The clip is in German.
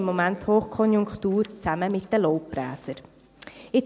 Im Moment haben die «Pamirs» zusammen mit den Laubbläsern Hochkonjunktur.